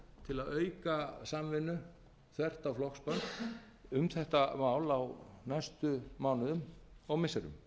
til að auka samvinnu þvert á flokksbönd um þetta mál á næstu mánuðum og missirum